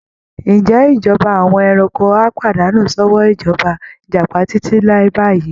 Ǹjẹ́ ìjọba àwọn ẹranko á pàdánù sọ́wọ́ ìjọba Ìjàpá títí láé báyìí?